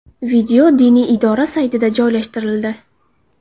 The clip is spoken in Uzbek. Video diniy idora saytida joylashtirildi .